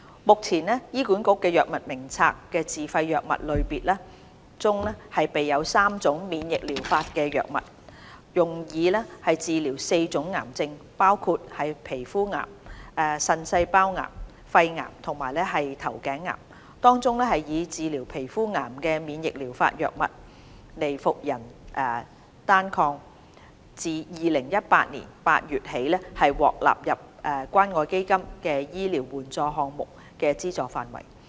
目前，醫管局《藥物名冊》的自費藥物類別中備有3種免疫療法藥物，用以治療4種癌症，包括皮膚癌、腎細胞癌、肺癌和頭頸癌，當中用以治療皮膚癌的免疫療法藥物"尼伏人單抗"自2018年8月起已獲納入關愛基金醫療援助項目的資助範圍。